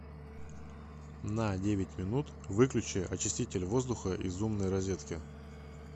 на девять минут выключи очиститель воздуха из умной розетки